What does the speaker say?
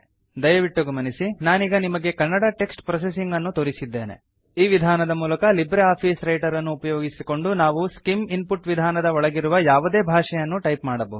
ದಯವಿಟ್ಟು ಗಮನಿಸಿ ನಾನೀಗ ನಿಮಗೆ ಕನ್ನಡ ಟೆಕ್ಸ್ಟ್ ಪ್ರೊಸೆಸಿಂಗ್ ಅನ್ನು ತೋರಿಸಿದ್ದೇನೆ ಈ ವಿಧಾನದ ಮೂಲಕ ಲಿಬ್ರೆ ಆಫೀಸ್ ರೈಟರ್ ಅನ್ನು ಉಪಯೋಗಿಸಿಕೊಂಡು ನಾವು ಸ್ಕಿಮ್ ಇನ್ಪುಟ್ ವಿಧಾನದ ಒಳಗಿರುವ ಯಾವುದೇ ಭಾಷೆಯನ್ನು ಟೈಪ್ ಮಾಡಬಹುದು